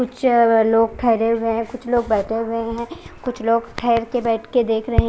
कुछ लोग ठहरे हुए है कुछ लोग बेठे हुए है कुछ लोग ठहर के बेठ के देख रहे है।